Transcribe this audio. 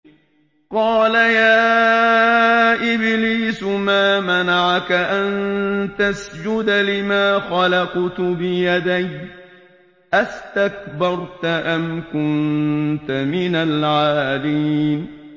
قَالَ يَا إِبْلِيسُ مَا مَنَعَكَ أَن تَسْجُدَ لِمَا خَلَقْتُ بِيَدَيَّ ۖ أَسْتَكْبَرْتَ أَمْ كُنتَ مِنَ الْعَالِينَ